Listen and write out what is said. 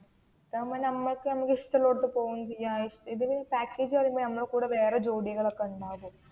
ഇതാകുമ്പോൾ ഞമക്ക് ആണെങ്കിൽ ഇഷ്ടം ഉള്ളയിടത്തു പോണെങ്കിൽ ഇതിൽ പാക്കേജ് പറയുമ്പോൾ ഞമ്മളെ കൂടേ വേറേ ജോഡികൾ ഒക്കേ ഉണ്ടാവും